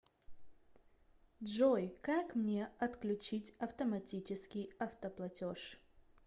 джой как мне отключить автоматический автоплатеж